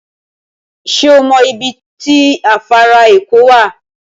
Sẹ́ ọ mọ ibi tó afàrà èkó wá?